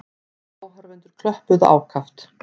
Áhorfendur klöppuðu ákaft.